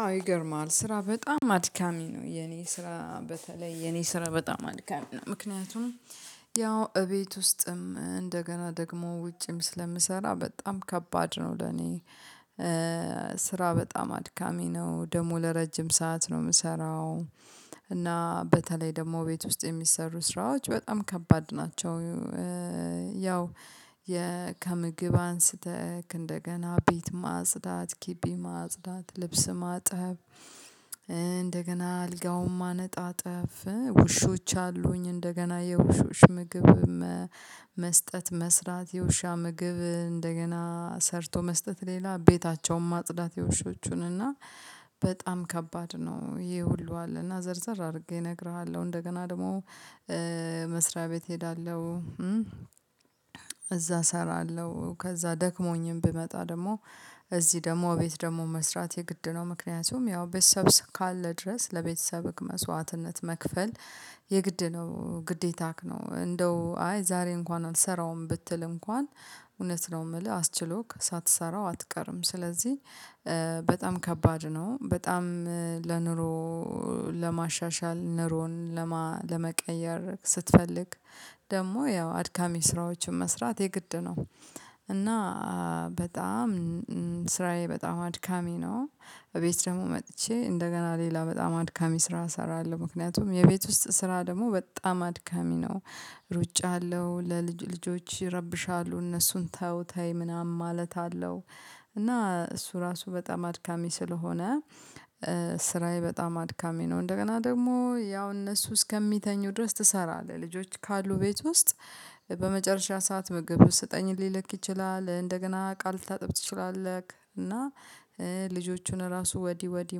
አው ይገርማል ስራ በጣም አድካሚ ነው የኔ ስራ በተለይ የኔ ስራ በጣም አድካሚ ነው ምክንያቱም ያው እቤት ውስጥም እንደገና ደግሞ ውጭም ስለምሰራ በጣም ከባድ ነው ለኔ። ስራ በጣም አድካሚ ነው ደሞ ለረጅም ሰዓት ነው የምሰራው። እና በተለይ ደግሞ ቤት ውስጥ የሚሰሩ ስራዎች በጣም ከባድ ናቸው። ያው ከምግብ አንስተህ እንደገና ቤት ማጽዳት ግቢ ማጽዳት ልብስ ማጠብ እንደገና አልጋውም ማነጣጠፍ ውሾች አሉኝ እንደገና የውሾች ምግብ መስጠት መስራት የውሻ ምግብ እንደገና ሰርቶ መስጠት ሌላ ቤታቸውን ማጽዳት የውሾቹን እና በጣም ከባድ ነው። ይሄ ሁሉ አለ እና ዘርዘር አድርጌ እነግርሃለሁ እንደገና ደግሞ መስሪያ ቤት እሄዳለሁ። እዛ እሰራለሁ ከዛ ደክሞኝም ብመጣ ደግሞ እዚህ ደግሞ ቤት ደግሞ መስራት የግድ ነው። ምክንያቱም ያው ቤተሰብ ካለ ድረስ ለቤተሰብ ህግ መስዋዕትነት መክፈል የግድ ነው ግዴታክ ነው። እንደው አይ ዛሬ እንኳን አልሰራውም ብትል እንኳን እውነት ነው የምልህ አስችሎክ ሳትሰራው አትቀርም ስለዚህ በጣም ከባድ ነው። በጣም ለኑሮ ለማሻሻል ነሮን ለመቀየር ስትፈልግ ደግሞ ያው አድካሚ ስራዎችን መስራት የግድ ነው። እና በጣም ስራዬ በጣም አድካሚ ነው። እቤት ደግሞ መጥቼ እንደገና ሌላ በጣም አድካሚ ስራ እሰራለሁ ምክንያቱም የቤት ውስጥ ስራ ደግሞ በጣም አድካሚ ነው። ሩጫ አለው ለልጅ ልጆች ይረብሻሉ እነሱን ተው ተይ ምናምን ማለት አለው። እና እሱ ራሱ በጣም አድካሚ ስለሆነ ስራዬ በጣም አድካሚ ነው። እንደገና ደግሞ ያው እነሱ እስከሚተኙ ድረስ ትሰራለህ ልጆች ካሉ ቤት ውስጥ በመጨረሻ ሰዓት ምግብ ውስጥ ስጠኝ ሊለክ ይችላል። እንደገና ቃል ታጥብ ትችላለህ። እና ልጆቹን ራሱ ወዲ ወዲ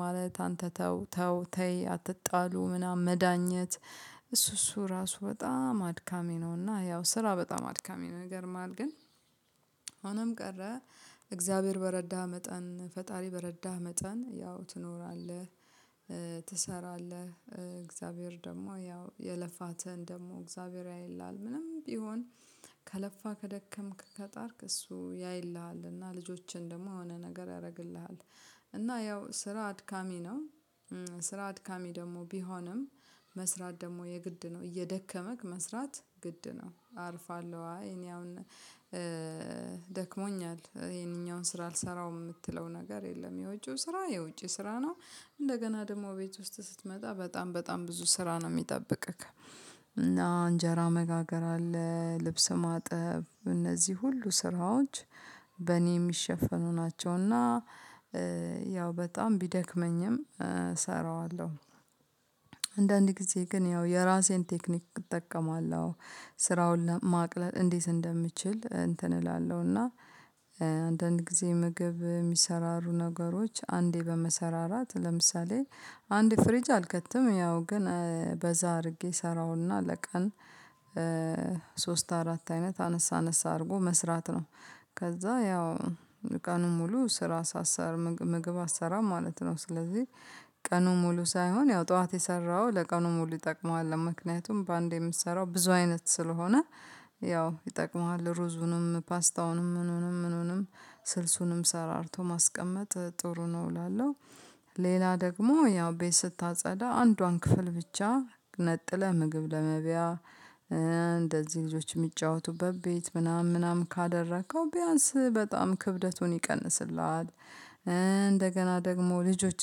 ማለት አንተ ተው ተው ተይ አትጣሉ ምናምን መዳኘት እሱ እሱ ራሱ በጣም አድካሚ ነውና። ያው ስራ በጣም አድካሚ ነገር ማን ግን ሆነም ቀረ እግዚአብሔር በረዳህ መጠን ፈጣሪ በረዳህ መጠን ያው ትኖራለህ። ትሰራለህ እግዚአብሔር ደግሞ ያው የልፋትህን ደግሞ እግዚአብሔር ያይልሃል። ምንም ቢሆን ከለፋ ከደከምክ ከጣርክ እሱ ያይልሃል እና ልጆችን ደግሞ የሆነ ነገር ያደርግልሃል። እና ያው ስራ አድካሚ ነው። ስራ አድካሚ ደግሞ ቢሆንም መስራት ደግሞ የግድ ነው እየደከመክ መስራት ግድ ነው አርፋለሁ። እኔ አሁን ደክሞኛል ይሄኛውን ስራ አልሰራውም የምትለው ነገር የለም የውጪው ስራ የውጪ ስራ ነው። እንደገና ደግሞ ቤት ውስጥ ስትመጣ በጣም በጣም ብዙ ስራ ነው የሚጠብቅህ። እና እንጀራ መጋገር አለ ልብስ ማጠብ እነዚህ ሁሉ ስራዎች በእኔ የሚሸፈኑ ናቸውና። ያው በጣም ቢደክመኝም እሰራዋለሁ። አንዳንዴ ጊዜ ግን ያው የራሴን ቴክኒክ እጠቀማለሁ። ስራውን ማቅለል እንዴት እንደምችል እንትን እላለሁ እና አንዳንድ ጊዜ ምግብ የሚሰራሩ ነገሮች አንዴ በመሰራራት ለምሳሌ አንድ ፍሪጅ አልከትም ያው ግን በዛ አድርጌ እሰራውና ለቀን ሶስት አራት አይነት አነሳ አነሳ አድርጎ መስራት ነው። ከዛ ያው ቀኑን ሙሉ ስራ ሳሰር ምግብ አሰራም ማለት ነው። ስለዚህ ቀኑ ሙሉ ሳይሆን ያው ጠዋት የሰራው ለቀኑ ሙሉ ይጠቅምሃል። ምክንያቱም በአንዴ የምትሰራው ብዙ አይነት ስለሆነ ያው ይጠቅመዋል ሩዙንም ፓስታውንም ምኑንም ምኑንም ስልሱንም ሰራርቶ ማስቀመጥ ጥሩ ነው እላለሁ። ሌላ ደግሞ ያው ቤት ስታጸዳ አንዷን ክፍል ብቻ ነጥለህ ምግብ ለመብያ እንደዚህ ልጆች የሚጫወቱበት ቤት ምናምን ምናምን ካደረከው ቢያንስ በጣም ክብደቱን ይቀንስልሃል። እንደገና ደግሞ ልጆች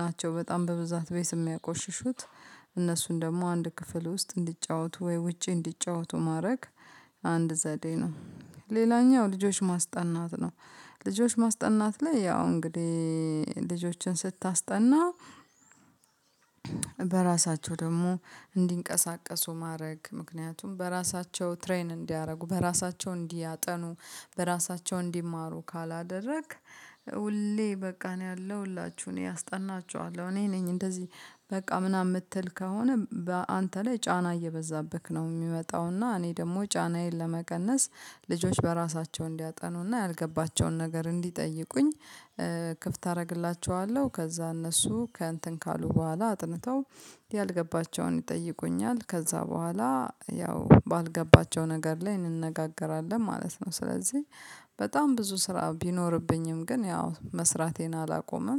ናቸው በጣም በብዛት ቤት የሚያቆሽሹት። እነሱን ደግሞ አንድ ክፍል ውስጥ እንዲጫወቱ ወይ ውጪ እንዲጫወቱ ማድረግ አንድ ዘዴ ነው። ሌላኛው ልጆች ማስጠናት ነው። ልጆች ማስጠናት ላይ ያው እንግዲህ ልጆችን ስታስጠና። በራሳቸው ደግሞ እንዲንቀሳቀሱ ማድረግ ምክንያቱም በራሳቸው ትሬን እንዲያደርጉ በራሳቸው እንዲያጠኑ በራሳቸው እንዲማሩ ካላደረግክ። ሁሌ በቃ እኔ አለሁላችሁ እኔ አስጠናችኋለሁ እኔ ነኝ እንደዚህ በቃ ምናምን የምትል ከሆነ አንተ ላይ ጫና እየበዛብህ ነው የሚመጣው። እና እኔ ደግሞ ጫናዬን ለመቀነስ ልጆች በራሳቸው እንዲያጠኑና ያልገባቸውን ነገር እንዲጠይቁኝ። ክፍት አደርግላችኋለሁ ከዛ እነሱ ከእንትን ካሉ በኋላ አጥንተው ያልገባቸውን ይጠይቁኛል ከዛ በኋላ ያው ባልገባቸው ነገር ላይ እንነጋገራለን ማለት ነው። ስለዚህ በጣም ብዙ ስራ ቢኖርብኝም ግን ያው መስራቴን አላቆመም